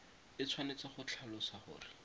e tshwanetse go tlhalosa gore